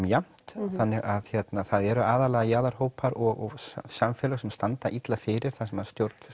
jafnt þannig það eru aðallega jaðarhópar og samfélög sem standa illa fyrir þar sem